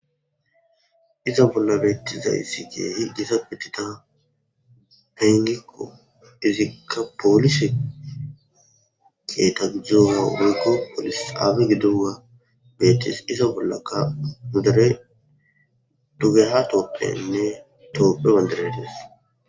Iza bolla betizaysi keehi gitanne Gita ayniko izika polise kitay yiyo polis xaba gidogey betes iza bollaka nu Deere dugeha tophiyeynne tophiya bandiray dees.